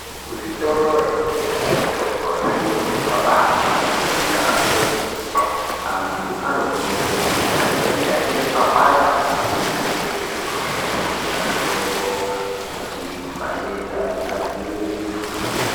Kuzvitoro zvinotengesa mitombo zviro zvabahlamburika Kwenene. Antu anokurudzirwa kuti kana einge aine papanda arumbe kuzvitorozvo kotenga mitombo kuti matenda adzivirirwe.